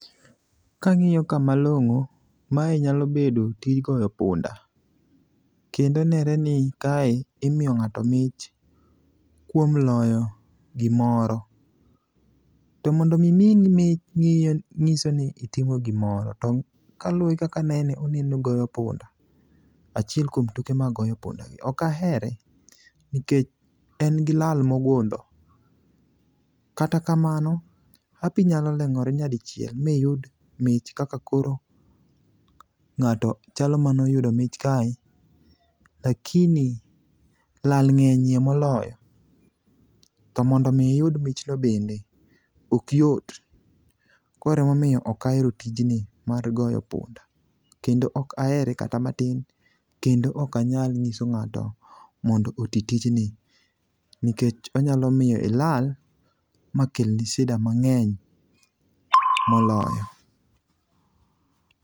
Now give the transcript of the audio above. Kang'iyo ka malong'o, mae nyalo bedo tij goyo punda kendo nenore ni kae imiyo ng'ato mich kuom loyo gimoro. To mondo omi miyi mich ng'iso ni itimo gimoro to kaluwore gi kaka anene oneno goyo punda,a chiel kuom tuke mag goyo pundagi. Ok ahere nikech en gi lal mogundho. Kata kamano, hapi nyaloleng'ore nyadichiel miyud mich kaka koro ng'ato chalo manoyudo mich kae lakini lal ng'eny ye moloyo, to mondo omi iyud michno bende okyot koro emomiyo ok ahero tijni mar goyo punda kendo ok ahere kata matin kendo ok anyal ng'iso ng'ato mondo oti tijni nikech onyalo miyo ilal makelni shida mang'eny moloyo.